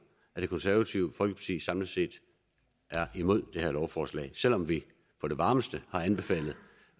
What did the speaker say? er det konservative folkeparti samlet set imod det her lovforslag selv om vi på det varmeste har anbefalet